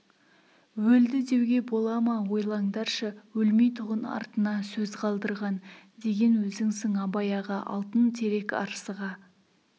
өлді деуге бола ма ойлаңдаршы өлмейтұғын артына сөз қалдырған деген өзіңсің абай аға алтын терек арсыға